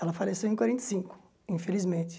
Ela faleceu em quarenta e cinco, infelizmente.